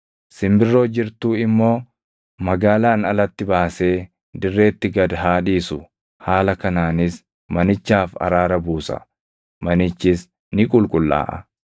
Simbirroo jirtuu immoo magaalaan alatti baasee dirreetti gad haa dhiisu. Haala kanaanis manichaaf araara buusa; manichis ni qulqullaaʼa.”